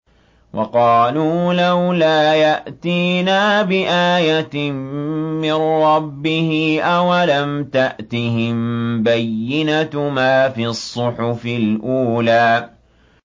وَقَالُوا لَوْلَا يَأْتِينَا بِآيَةٍ مِّن رَّبِّهِ ۚ أَوَلَمْ تَأْتِهِم بَيِّنَةُ مَا فِي الصُّحُفِ الْأُولَىٰ